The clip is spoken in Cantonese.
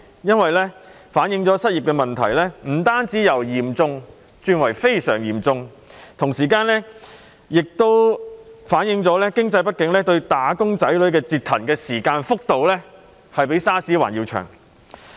這反映失業問題不僅由嚴重轉為非常嚴重，同時反映經濟不景對"打工仔女"折騰的時間和幅度較 SARS 更長。